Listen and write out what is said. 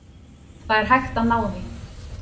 Það er hægt að ná því.